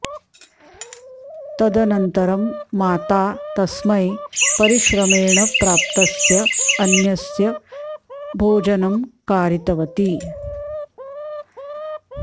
तदनन्तरं माता तस्मै परिश्रमेण प्राप्तस्य अन्नस्य भोजनं कारितवती